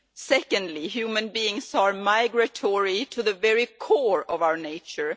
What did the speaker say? Secondly, human beings are migratory to the very core of our nature.